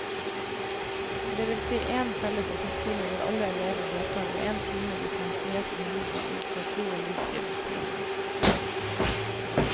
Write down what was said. Det vil si én felles etikktime hvor alle elever deltar og én time differensiert undervisning ut fra tro og livssyn. punktum